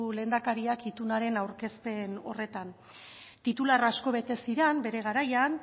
lehendakariak itunaren aurkezpen horretan titular asko bete ziren bere garaian